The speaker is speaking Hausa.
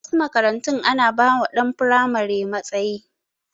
A wasu makarantun ana ba wa ɗan firamare matsayi